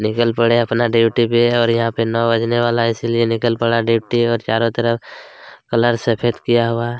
निकल पड़े है अपना ड्यूटी पे और यहाँ पे नौ बजने वाला है इसलिए निकल पड़ा है ड्यूटी है और चारो तरफ कलर सफ़ेद किया हुआ है।